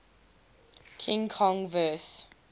king kong vs